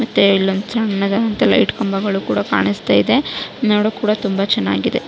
ಮತ್ತೆ ಇಲ್ಲೊಂದು ಸನ್ನದಾದಂತ ಲೈಟ್ ಕಂಬಗಳು ಕೂಡ ಕಾಣುಸ್ತಯಿದೆ ನೋಡೋಕ್ಕು ಕೂಡ ತುಂಬಾ ಚನ್ನಾಗಿದೆ.